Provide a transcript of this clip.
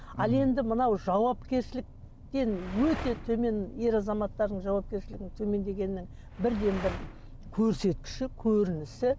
ал енді мынау жауапкершіліктен өте төмен ер азаматтардың жауапкершілігінің төмендегені бірден бір көрсеткіші көрінісі